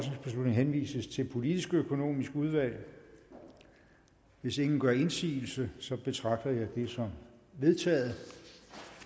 henvises til det politisk økonomiske udvalg hvis ingen gør indsigelse betragter jeg det som vedtaget